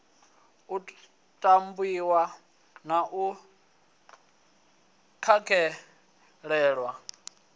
u tamiwa na u takalelwa